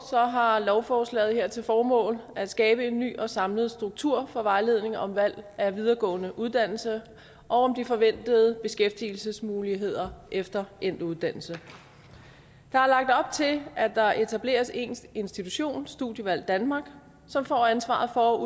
har lovforslaget her til formål at skabe en ny og samlet struktur for vejledning om valg af videregående uddannelse og om de forventede beskæftigelsesmuligheder efter endt uddannelse der er lagt op til at der etableres en institution studievalg danmark som får ansvaret for